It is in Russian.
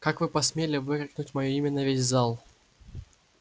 как вы посмели выкрикнуть моё имя на весь зал